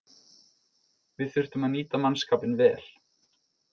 Við þurftum að nýta mannskapinn vel